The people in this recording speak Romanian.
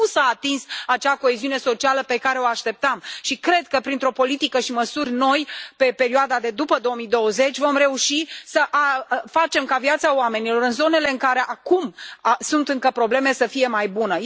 Nu s a atins acea coeziune socială pe care o așteptam și cred că, printr o politică și măsuri noi pe perioada de după 2020, vom reuși să facem ca viața oamenilor în zonele în care acum sunt încă probleme să fie mai bună.